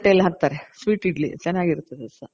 ತಟ್ಟೇಲಿ ಹಾಕ್ತಾರೆ sweetಇಡ್ಲಿ ಚೆನಾಗಿರ್ತದೆ ಸಹ.